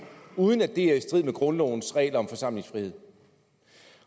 uden at det er i strid med grundlovens regler om forsamlingsfrihed